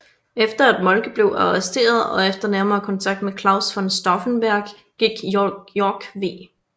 Efter at Moltke blev arresteret og efter nærmere kontakt med Claus von Stauffenberg gik Yorck v